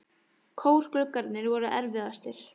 Kórgluggarnir voru erfiðastir.